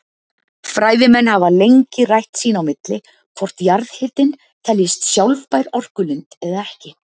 Fræðimenn hafa lengi rætt sín á milli hvort jarðhitinn teljist sjálfbær orkulind eða ekki.